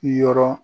Yɔrɔ